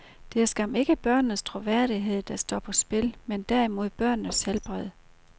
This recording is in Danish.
Det er skam ikke børnenes troværdighed, der står på spil, men derimod børnenes helbred.